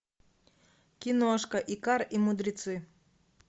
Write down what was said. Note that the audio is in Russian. киношка икар и мудрецы